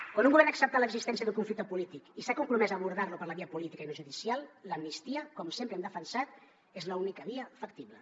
quan un govern ha acceptat l’existència d’un conflicte polític i s’ha compromès a abordar lo per la via política i no judicial l’amnistia com sempre hem defensat és l’única via factible